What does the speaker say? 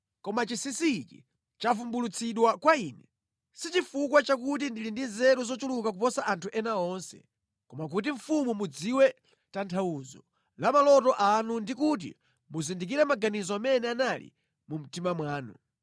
Koma chinsinsi ichi chavumbulutsidwa kwa ine, si chifukwa chakuti ndili ndi nzeru zochuluka kuposa anthu ena onse, koma kuti mfumu mudziwe tanthauzo la maloto anu ndi kuti muzindikire maganizo amene anali mu mtima mwanu.